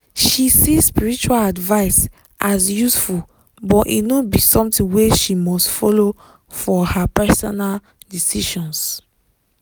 she see spiritual advice as useful but e no be something wey she must follow for her personal decisions.